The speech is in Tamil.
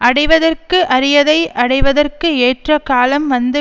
அடைவதற்கு அரியதை அடைவதற்கு ஏற்ற காலம் வந்து